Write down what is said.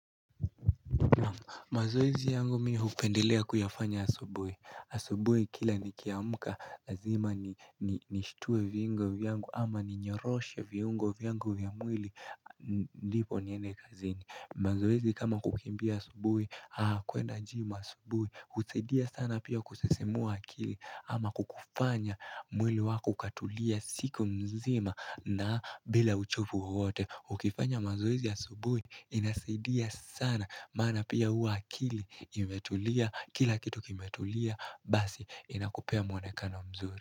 Mazoezi yangu mi hupendelea kuyafanya asubui. Asubui kila nikiamka lazima ni nishtue viungo vyangu ama ninyoroshe viungo vyangu vya mwili ndipo niende kazini. Mazoezi kama kukimbia asubui, kuenda gym asubui. Husaidia sana pia kusisimua akili ama kukufanya mwili wako ukatulia siku mzima na bila uchovu wowote. Ukifanya mazoezi asubui inasaidia sana maana pia hua akili imetulia kila kitu kimetulia basi inakupea mwonekano mzuri.